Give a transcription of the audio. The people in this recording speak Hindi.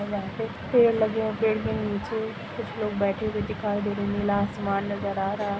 पेड़ लगे हुवे है पेड़ के नीचे कुछ लोग बैठे हुए दिखाई दे रहे है नीला आसमान नज़र आ रहा --